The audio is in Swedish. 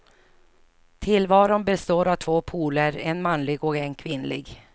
Tillvaron består av två poler, en manlig och en kvinnlig.